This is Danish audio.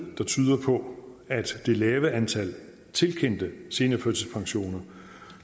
der tyder på at det lave antal tilkendte seniorførtidspensioner